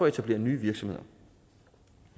etablere nye virksomheder